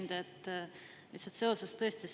Hea ettekandja!